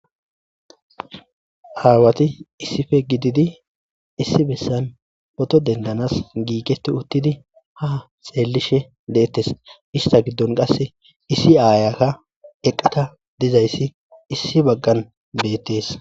aawati issipe gididi issi bessan photo dendanas giigeti uttidi ha xeellishe deettes ista giddon qasse issi aayakka eqqada dizayssi issi baggan beettees